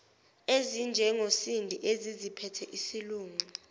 ezinjengosindi eseziziphethe isilungu